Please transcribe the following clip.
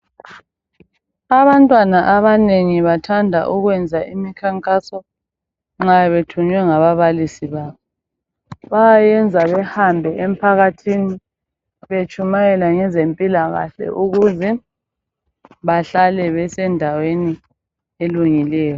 Abantwana abanengi bathanda ukwenza imikhankaso nxa bethunywe ngababalisi babo bayayenza behambe emphakathini betshumayela ngezempilakahle ukuze behlale besendaweni elungileyo